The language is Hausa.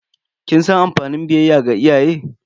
Kin san amfanin biyayya ga iyaye?